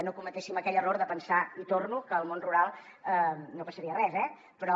no cometem aquell error de pensar hi torno que al món rural no passaria res eh però